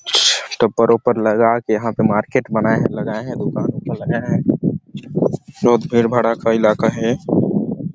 Topper -ओपर लगा के यहाँ पर मार्केट बनाये है लगाये है दुकान -उकान लगाये है बहुत भीड़- भड़ाका इलाका हैं ।